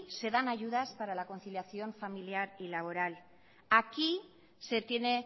se dan ayudas para la conciliación familiar y laboral aquí se tiene